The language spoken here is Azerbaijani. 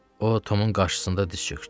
O Tomun qarşısında diz çökdü.